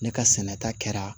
Ne ka sɛnɛ ta kɛra